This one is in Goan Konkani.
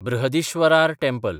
बृहदीश्वरार टँपल